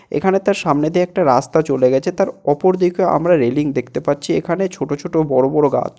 এখানে তার সামনে দিয়ে একটা রাস্তা চলে গেছে। তার ওপর দিকে আমরা রেলিং দেখতে পাচ্ছি। এখানে ছোট ছোট বড় বড় গাছ।